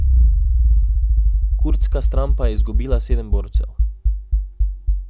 Kurdska stran pa je izgubila sedem borcev.